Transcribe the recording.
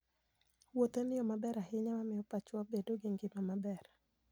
Wuoth en yo maber ahinya mar miyo pachwa obed gi ngima maber.